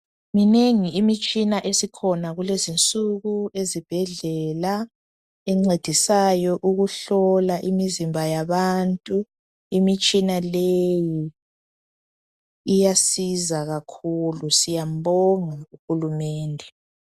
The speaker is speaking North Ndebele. Minengi imitshina esikhona kulezinsuku ezibhedlela, encedisayo ukuhlola imizimba yabantu, imitshina leyi iyasiza kakhulu, siyambonga u Hulumende.